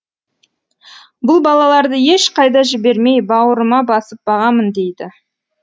бұл балаларды ешқайда жібермей бауырыма басып бағамын дейді